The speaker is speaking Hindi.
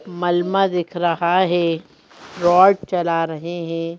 मलमा दिख रहा है रॉड चला रहे हैं।